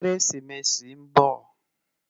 Kérésimési n bò